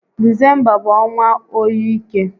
Disemba bụ ọnwa óyi ike